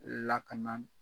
Lakana